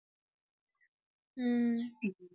ஹம்